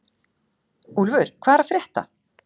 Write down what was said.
Úlfur, hvað er að frétta?